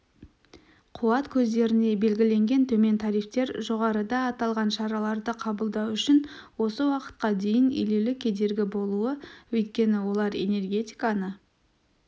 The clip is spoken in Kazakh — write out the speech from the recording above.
қуат көздеріне белгіленген төмен тарифтер жоғарыда аталған шараларды қабылдау үшін осы уақытқа дейін елеулі кедергі болуда өйткені олар энергетиканы